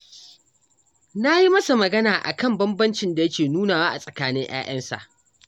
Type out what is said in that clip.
Na yi masa magana a kan banbancin da yake nunawa a tsakanin 'ya'yansa